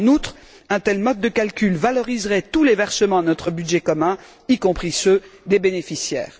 En outre, un tel mode de calcul valoriserait tous les versements à notre budget commun, y compris ceux des bénéficiaires.